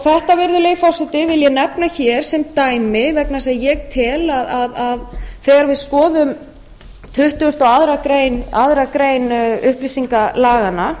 þetta virðulegi forseti vil ég nefna hér sem dæmi vegna þess að ég tel að þegar við skoðum tuttugasta og aðra grein upplýsingalaganna